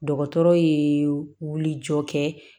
Dɔgɔtɔrɔ ye wuli jɔ kɛ